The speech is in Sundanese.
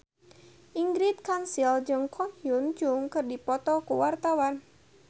Ingrid Kansil jeung Ko Hyun Jung keur dipoto ku wartawan